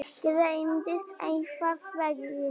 Gleymdist einhvern veginn.